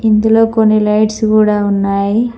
ఇందులో కొన్ని లైట్స్ కూడా ఉన్నాయి.